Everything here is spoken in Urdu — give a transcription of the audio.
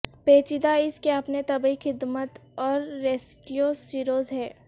پیچیدہ اس کے اپنے طبی خدمت اور ریسکیو سروس ہے